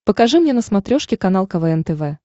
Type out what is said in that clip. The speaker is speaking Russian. покажи мне на смотрешке канал квн тв